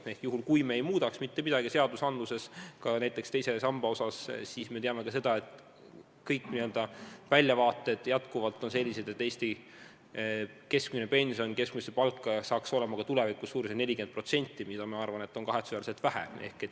Me teame, et kui me ei muudaks seaduses mitte midagi, ka teise samba osas, siis väljavaated oleksid sellised, et Eesti keskmine pension moodustaks keskmisest palgast ka tulevikus 40%, mida on minu arvates kahetsusväärselt vähe.